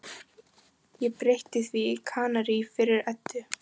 Ég breytti því í Kanarí fyrir Eddu.